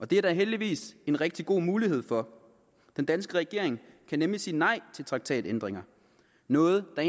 det er der heldigvis en rigtig god mulighed for den danske regering kan nemlig sige nej til traktatændringer noget der